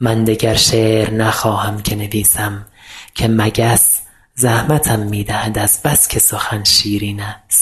من دگر شعر نخواهم که نویسم که مگس زحمتم می دهد از بس که سخن شیرین است